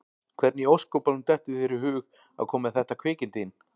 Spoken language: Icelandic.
Hvernig í ósköpunum dettur þér í hug að koma með þetta kvikindi inn?